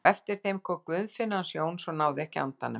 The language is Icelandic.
Á eftir þeim kom Guðfinna hans Jóns og náði ekki andanum.